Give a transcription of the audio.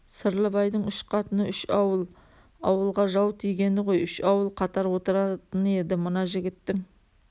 сырлыбайдың үш қатыны үш ауыл ауылға жау тигені ғой үш ауыл қатар отыратын еді мына жігіттің